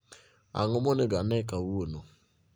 Ang'o monego anee kawuono